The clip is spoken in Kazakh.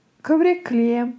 көбірек күлемін